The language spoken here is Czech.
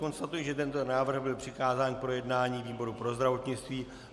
Konstatuji, že tento návrh byl přikázán k projednání výboru pro zdravotnictví.